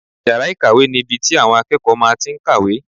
Yàrá ìkàwé ni ibi tí àwọn akẹ́kọ̀ọ́ máa tí n kàwé